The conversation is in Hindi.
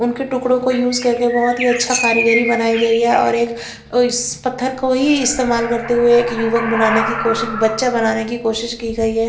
उनके टुकड़ों को यूज करके बहुत ही अच्छा कारीगरी बनाई गई है और एक इस पत्थर को ही इस्तेमाल करते हुए एक युवक बनाने की कोशिश बच्चा बनाने की कोशिश की गई है।